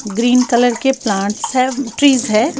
Green colour के plants हैं trees हैं।